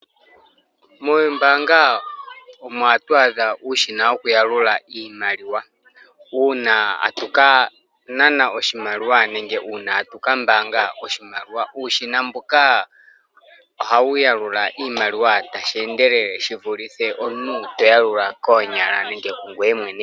Mombaanga omo hatu adha uushina woku yalula iimaliwa uuna tatu ka nana oshimaliwa nenge tatu kambaanga oshimaliwa uushina mboka ohawu yalula iimaliwa tawu endelele shi vulithe omuntu to yalula koonyala nenge kungweye mwene.